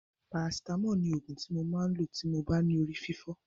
Parasitámọ̀ ni òògùn ti mo máa lò tí mo bá ní orí fífọ́.